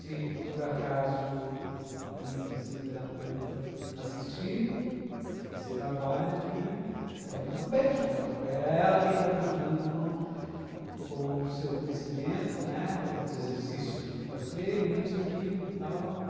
Se por acaso a minha fisioterapeuta assistir esse trabalho que, quero mandar um beijo para ela, porque é ela quem está me ajudando com com o seu conhecimento, né, os exercícios que tenho que fazer, isso, aquilo, tal.